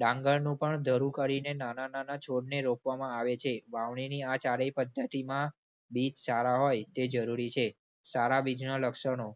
ડાંગરનું પણ ધરૂ કરીને નાના નાના છોડને રોપવામાં આવે છે. વાવણીની આ ચારેય પદ્ધતિમાં બીજ સારા હોય તે જરૂરી છે. સારા બીજના લક્ષણો.